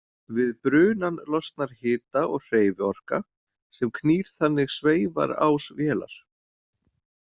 Við brunann losnar hita og hreyfiorka sem knýr þannig sveifarás vélar.